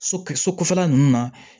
So so kɔfɛla nunnu na